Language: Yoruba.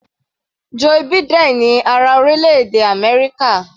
Joe Biden ni ààrẹ orílẹ̀-èdè Amẹ́ríkà.